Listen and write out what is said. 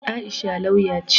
Aisha lauya ce.